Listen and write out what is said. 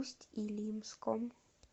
усть илимском